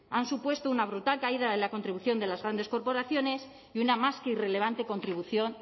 han supuesto una brutal caída de la contribución de las grandes corporaciones y una más que irrelevante contribución